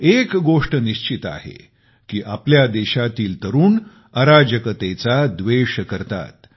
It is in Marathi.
एक गोष्ट अगदी निश्चित आहे की आपल्या देशातील तरुणांच्या मनात अराजकतेविषयी राग आहे